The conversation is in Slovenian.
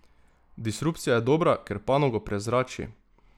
Disrupcija je dobra, ker panogo prezrači.